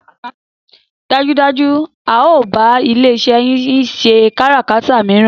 Dájúdájú a o bá ilé iṣé yín ṣẹ káràkátà míràn